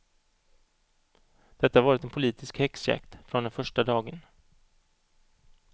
Detta har varit en politisk häxjakt från den första dagen.